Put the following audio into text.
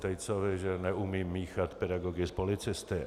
Tejcovi, že neumím míchat pedagogy s policisty.